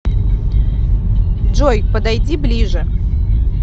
джой подойди ближе